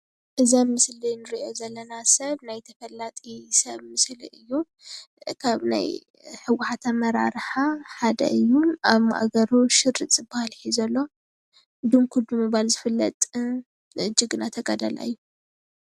እዛ ምስሊ እንሪኦ ዘለና ሰብ ናይ ተፈላጢ ሰብ ምስሊ እዩ፡፡ ካብ ናይ ህዋሕት ኣመራርሓ ሓደ እዩ፡፡ ኣብ ማእገሩ ሽሩጥ ዝበሃል ሒዙ ኣሎ ድንኩል ብምባል ዝፍለጥ ጅግና ተጋዳላይ እዩ፡፡